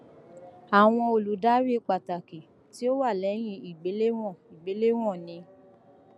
awọn oludari pataki ti o wa lẹhin igbelewọn igbelewọn ni